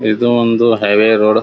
ಇದು ಒಂದು highway road .